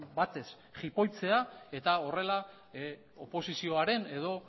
batez jipoitzea eta horrela oposizioaren edo